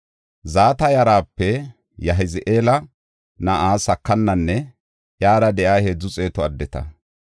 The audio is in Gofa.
Zata yarape Yahazi7eela na7a Sakananne iyara de7iya heedzu xeetu addeta.